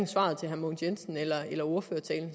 svaret til herre mogens jensen eller af ordførertalen